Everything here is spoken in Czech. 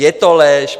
Je to lež.